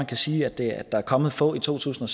kan sige at der er kommet få i to tusind